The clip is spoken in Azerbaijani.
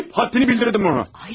Gəlib həddini bildirdin ona.